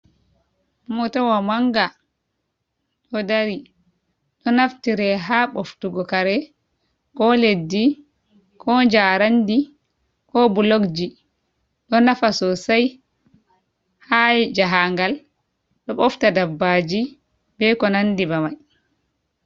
Mootawa mannga ɗo dari, ɗo naftire haa ɓoftugo kare koo leddi koo jaaraandi koo Bulogji, ɗo nafa soosay haa jahaangal ɗo ɓofta dabbaaji bee ko nanndi bee mai.